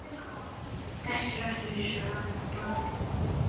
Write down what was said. Dettur aftur fyrir sig ofan á borðið.